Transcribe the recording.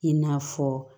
I n'a fɔ